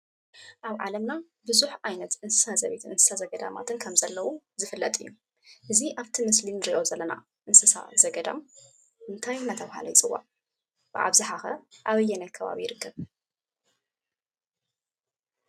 ኣብ ዓለምና ቡዙሕ ዓይነት እንስሳ ዘቤትን እንስሳ ዘገዳማት ከም ዘለዉ ዝፍለጥ እዩ፡፡ እዚ ኣብ እቲ ምስሊ እንሪኦ ዘለና እንስሳ ዘገዳም እንታይ እናተባሃለ ይፅዋዕ? ብኣብዝሓ ከ ኣበየናይ ከባቢ ይርከብ?